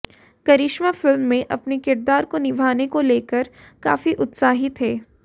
करिश्मा film में अपने किरदार को निभाने को लेकर काफी उत्साहित हैं